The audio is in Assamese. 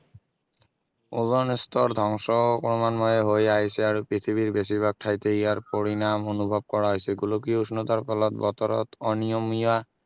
অজন স্তৰ ধ্বংস ক্ৰমান্বয়ে হৈ আহিছে আৰু পৃথিৱীৰ বেছিভাগ ঠাইতে ইয়াৰ পৰিণাম অনুভৱ কৰা হৈছে গোলকীয় উষ্ণতাৰ ফলত বতৰত অনীয়মীয়া